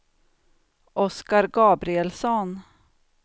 Oskar Gabrielsson